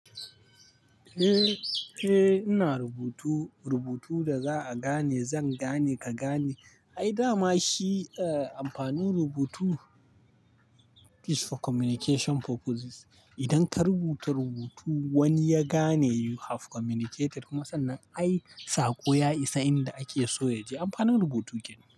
Eh, eh ina rubutu, rubutu da za'a gane, zan gane, ka gane. Ai dama shi, amfanin rubutu is for communication purposes. Idan ka rubuta rubutu wani ya gane you have communicated. Musannan ai saƙo ya isa inda ake so ya je. Amfanin rubutu kenan.